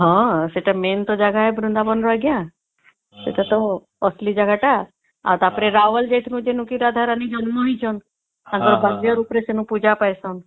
ହଁ ସେଟା main ଜାଗା ବୃନ୍ଦାବନ ର ଆଂଜ୍ଞା ସେଟା ତା ଅସଲି ଜାଗା ଟା ଆଉ ଟା ପରେ ରାୱଲ ଯାଇଥିଲୁ ଯେଣେ କେ ରାଧା ରାଣୀ ଜନ୍ମ ହେଇଚନ ସେଠି ଭବ୍ୟ ରୂପ ରେ ପୂଜା ପାଇଁସନ